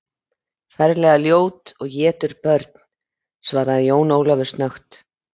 Ferlega ljót og étur börn, svaraði Jón Ólafur snöggt.